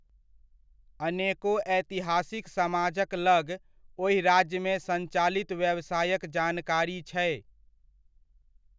अनेको ऐतिहासिक समाजक लग ओहि राज्यमे संचालित व्यवसायक जानकारी छै।